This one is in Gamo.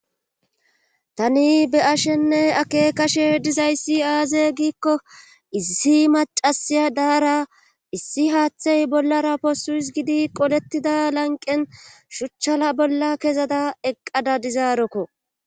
Tani be ashenne akekashe dizayssi aaze giikko issi macasiya daara issi haaththay bollara poosuis gidi qolettida lanqen shuchchala bolla kezada eqqada dizaarokko